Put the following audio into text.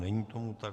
Není tomu tak.